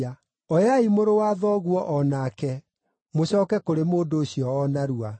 Oyai mũrũ wa thoguo o nake, mũcooke kũrĩ mũndũ ũcio o narua.